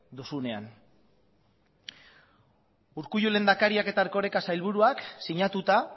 duzuenean urkullu lehendakariak eta erkoreka sailburuak sinatuta